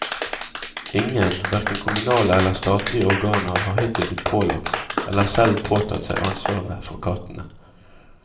Ingen, hverken kommunale eller statlige organer har hittil blitt pålagt, eller selv påtatt seg ansvaret, for kattene.